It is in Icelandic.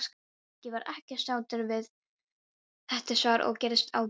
Nikki var ekki sáttur við þetta svar og gerðist ágengur.